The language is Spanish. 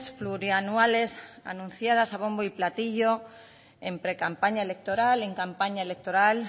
plurianuales anunciadas a bombo y platillo en precampaña electoral en campaña electoral